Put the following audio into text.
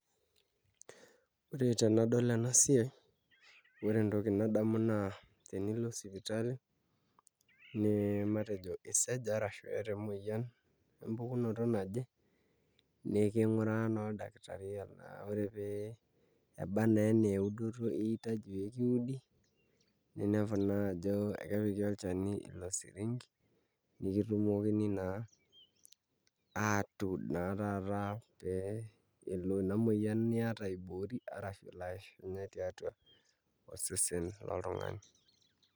Ore tenadol ena siai ore entoki nadamu naa sipitali matejo isaja ashu iata emuoyian empukunoto naje niking'uraa naa oldakiri ore pee eba naa enaa eudoto iyieu pee kiudi ninepu naa ajo kepiki olchani ilo siringi nikitumoki naa atuud naa na pee elo ina muoyian niata aiboori arashu elo aishunye tiatua osesen loltung'ani.